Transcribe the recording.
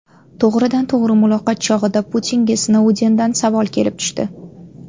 To‘g‘ridan-to‘g‘ri muloqot chog‘ida Putinga Snoudendan savol kelib tushdi.